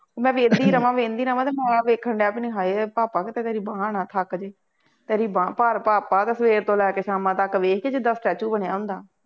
ਮੈਂ ਵਹਿੰਦੀ ਰਹਵਾਂ, ਵਹਿੰਦੀ ਰਹਵਾਂ ਅਤੇ ਮੌਲਾ ਵੇਖਣ ਡਿਆ ਆਪਣੀ ਹਾਏ ਭਾਪਾ ਕਿਤੇ ਤੇਰੀ ਬਾਂਹ ਨਾ ਥੱਕ ਜਾਏ ਤੇਰੀ ਬਾਂਹ ਭਾਰ ਪਾ ਪਾ ਦਾ ਸਵੇਰ ਤੋਂ ਲੈ ਕੇ ਸ਼ਾਮਾਂ ਤੱਕ ਇਹ ਸੀ ਜਿਦਾਂ statue ਬਣਿਆਂ ਹੁੰਦਾ